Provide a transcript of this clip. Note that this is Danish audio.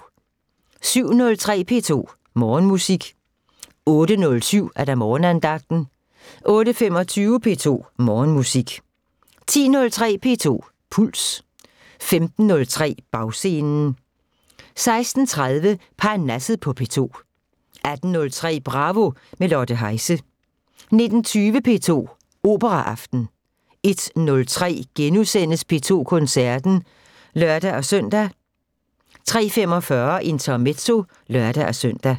07:03: P2 Morgenmusik 08:07: Morgenandagten 08:25: P2 Morgenmusik 10:03: P2 Puls 15:03: Bagscenen 16:30: Parnasset på P2 18:03: Bravo – med Lotte Heise 19:20: P2 Operaaften 01:03: P2 Koncerten *(lør-søn) 03:45: Intermezzo (lør-søn)